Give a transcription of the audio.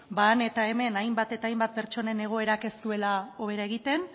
han eta hemen hainbat eta hainbat pertsonen egoerak ez duela hobera egiten